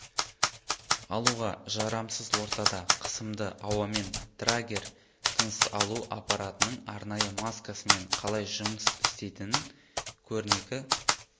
алуға жарамсыз ортада қысымды ауамен драгер тыныс алу аппаратының арнайы маскасымен қалай жұмыс істейтінін көрнекі